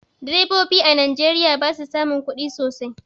Direbobi a najeriya basu samun kudi sosai